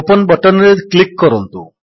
open button ରେ click କରନ୍ତୁ